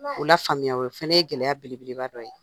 O la faamuya o fana ye gɛlɛya belebeleba dɔ ye,